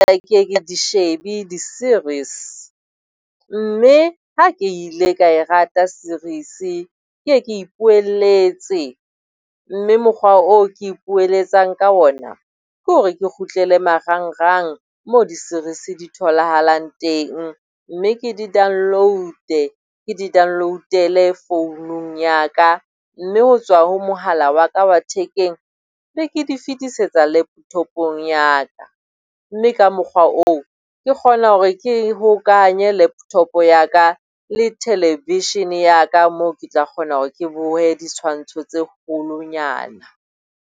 Ha ke ke ye ke di shebe di-series, mme ha ke ile ka e rata series ke ye ke e ipoelletse. Mme mokgwa oo ke ipoelletsang ka ona ke hore ke kgutlele marangrang mo di-series di tholahalang teng, mme ke di download-e ke di download-ele founung ya ka, mme ho tswa ho mohala wa ka wa thekeng be ke di fetisetsa laptop-ong ya ka. Mme ka mokgwa oo ke kgona hore ke hokahanye laptop ya ka le television-e ya ka moo ke tla kgona hore ke bohe ditshwantsho tse kgolonyana.